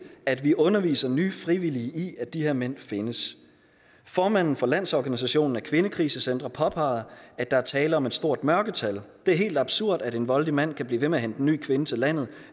at vi underviser nye frivillige i at de her mænd findes formanden for landsorganisationen af kvindekrisecentre påpeger at der er tale om et stort mørketal hun det er helt absurd at en voldelig mand kan blive ved med at hente en ny kvinde til landet